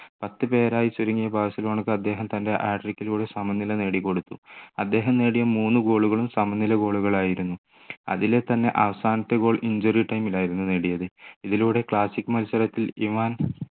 പത്ത് പേരായി ചുരുങ്ങിയ ബാഴ്‌സിലോണക്കു അദ്ദേഹം തൻ്റെ hat trick ലൂടെ സമനില നേടിക്കൊടുത്തു അദ്ദേഹം നേടിയ മൂന്നു goal കളും സമനില goal കളായിരുന്നു അതിലെ തന്നെ അവസാനത്തേ goal injury time ലായിരുന്നു നേടിയത് ഇതിലൂടെ classic മത്സരത്തിൽ